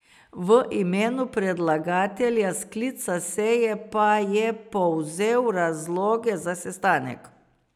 V imenu predlagatelja sklica seje pa je povzel razloge za sestanek.